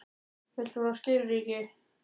Viltu fá skilríki?